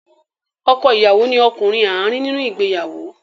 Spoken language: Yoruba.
Ọkọ ìyàwó ni ọkùnrin àárín nínú ìgbéyàwó.